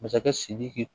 Masakɛ sidiki